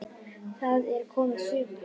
Það er komið sumar.